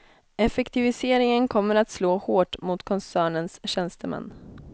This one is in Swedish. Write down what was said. Effektiviseringen kommer att slå hårt mot koncernens tjänstemän.